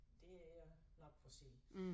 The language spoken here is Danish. Det er nok for sent